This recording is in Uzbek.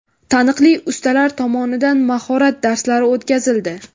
Taniqli ustalar tomonidan mahorat darslari o‘tkazildi.